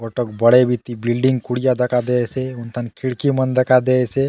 गोटोक बड़े बितिन बिल्डिंग कुडिया दखा दयेसे हुन थाने खिड़की मन दखा दयेसे।